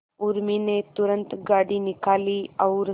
उर्मी ने तुरंत गाड़ी निकाली और